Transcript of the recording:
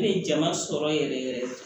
Ne ye jama sɔrɔ yɛrɛ yɛrɛ yɛrɛ